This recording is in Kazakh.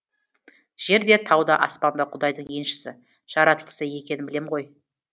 жер де тау да аспан да құдайдың еншісі жаратылысы екенін білем ғой